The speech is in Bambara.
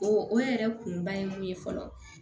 O o yɛrɛ kunba ye mun ye fɔlɔ